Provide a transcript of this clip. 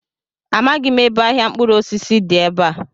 Amaghị m ebe ahịa mkpụrụosisi dị ebe a.